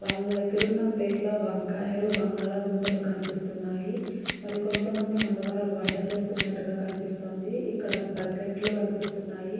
వాళ్ళ దగ్గర ఉన్నగా ఉన్న ప్లేట్ లో వంకాయలు బంగాళా దుంపలు కనిపిస్తున్నాయి. మరి కొంతమంది మగవారు వంట చేస్తున్నట్టుగా కనిపిస్తోంది. ఇక్కడ బకెట్ లు కనిపిస్తున్నాయి.